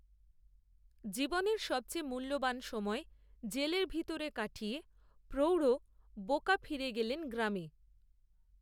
জীবনের সবচেয়ে মূল্যবান সময় জেলের ভিতরে কাটিয়ে প্রৌঢ় বোকা ফিরে গেলেন গ্রামে